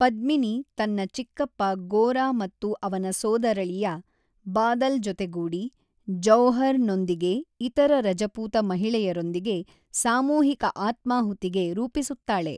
ಪದ್ಮಿನಿ ತನ್ನ ಚಿಕ್ಕಪ್ಪ ಗೋರಾ ಮತ್ತು ಅವನ ಸೋದರಳಿಯ ಬಾದಲ್ ಜೊತೆಗೂಡಿ ಜೌಹರ್ ನೊಂದಿಗೆ ಇತರ ರಜಪೂತ ಮಹಿಳೆಯರೊಂದಿಗೆ ಸಾಮೂಹಿಕ ಆತ್ಮಾಹುತಿಗೆ ರೂಪಿಸುತ್ತಾಳೆ.